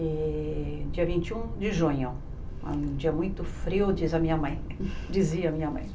E dia vinte e um de junho, um dia muito frio, diz a minha mãe dizia a minha mãe.